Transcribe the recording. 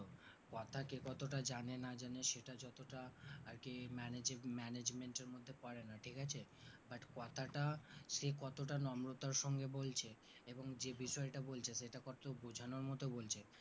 কথা কে কতটা জানে না জানে সেটা যতটা আরকি managing~management এর মধ্যে পড়া না ঠিক আছে but কথাটা সে কতটা নম্রতার সঙ্গে বলছে এবং যে বিষয়টা বলছে সেটা কতটা বোঝানোর মতো বলছে